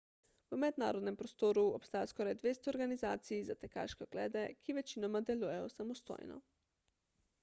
v mednarodnem prostoru obstaja skoraj 200 organizacij za tekaške oglede ki večinoma delujejo samostojno